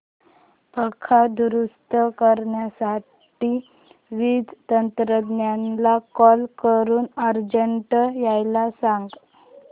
पंखा दुरुस्त करण्यासाठी वीज तंत्रज्ञला कॉल करून अर्जंट यायला सांग